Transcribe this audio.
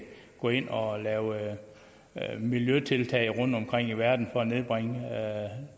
gå ind og lave miljøtiltag rundtomkring i verden for at nedbringe